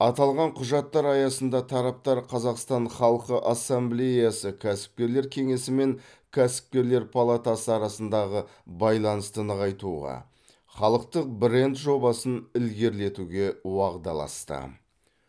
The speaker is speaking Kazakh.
аталған құжаттар аясында тараптар қазақстан халқы ассамблеясы кәсіпкерлер кеңесі мен кәсіпкерлер палатасы арасындағы байланысты нығайтуға халықтық бренд жобасын ілгерілетуге уағдаласты